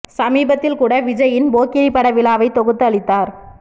சமீபத்தில் கூட விஜய்யின் போக்கிரி பட விழாவை தொகுத்து அளித்தார்